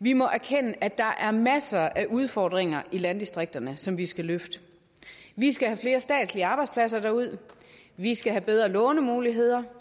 vi må erkende at der er masser af udfordringer i landdistrikterne som vi skal løfte vi skal have flere statslige arbejdspladser derud vi skal have bedre lånemuligheder